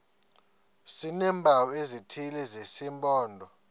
sineempawu ezithile zesimpondo